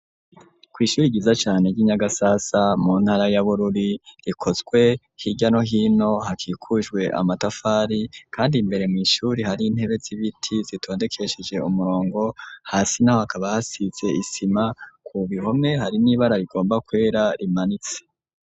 kw’ishuri ryiza cane ry'inyagasasa mu ntara ya Bururi rikozwe hirya no hino hakikujwe amatafari, kandi imbere mw’ishuri hari intebe z'ibiti zitondekesheje umurongo, hasi naho hakaba hasize isima ku bihome hari nibara rigomba kwera rimanitse.